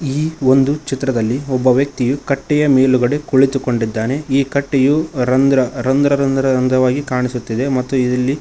ಈ ಒಂದು ಚಿತ್ರದಲ್ಲಿ ಒಬ್ಬ ವ್ಯಕ್ತಿಯು ಕಟ್ಟೆಯ ಮೇಲುಗಡೆ ಕುಳಿತುಕೊಂಡಿದ್ದಾನೆ ಈ ಕಟ್ಟೆಯು ರಂದ್ರ ರಂದ್ರ ರಂದ್ರ ರಂದ್ರವಾಗಿ ಕಾಣಿಸುತ್ತದೆ ಮತ್ತು ಇದಿಲ್ಲಿ--